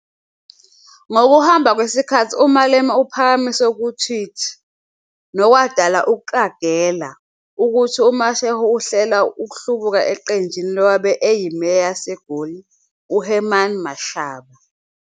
Ngokuhamba kwesikhathi uMalema uphakamise ku-tweet, nokwadala ukuqagela, ukuthi uMashego uhlela ukuhlubuka eqenjini lowabe eyiMeya yaseGoli, uHerman Mashaba.